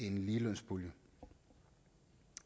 en ligelønspulje